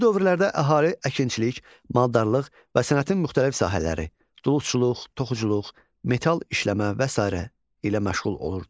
Bu dövrlərdə əhali əkinçilik, maldarlıq və sənətin müxtəlif sahələri, duluzçuluq, toxuculuq, metal işləmə və sairə ilə məşğul olurdu.